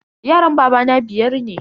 Yaran babana biyar ne.